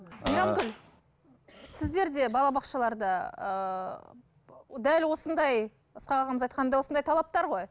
сіздерде балабақшаларда ыыы дәл осындай ысқақ ағамыз айтқандай осындай талаптар ғой